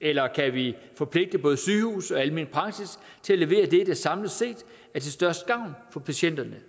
eller kan vi forpligte både sygehus og almen praksis til at levere det der samlet set er til størst gavn for patienterne